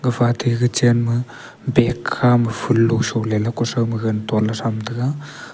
gafa tey kitchen ma bag khama ful lo sole kusao ma gaganley tonle tham tega.